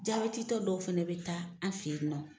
Jaabɛti tɔ dɔw fɛnɛ bɛ taa an fɛ ye nɔ.